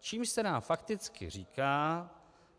Čímž se nám fakticky říká,